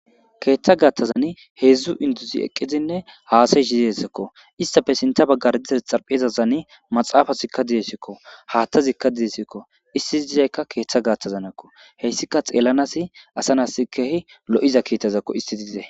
keeththa gaattazani heedzdzu induzi eqqizinne haasayshidesekko istafe sinta baggar dizazi xarphiezazani maxaafasikka didesikko haattazikka didesikko isti i izeykka keeththa gaattazanakko heyssika xeellanasi asanas keehi lo7iza kiittazakko isti diize